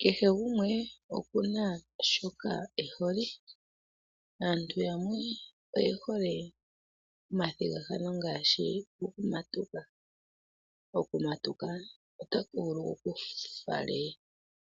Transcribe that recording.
Kehe gumwe oku na shoka e hole. Aantu yamwe oye hole omathigathano ngaashi gokumatuka. Okumatuka otaku vulu ku ku fale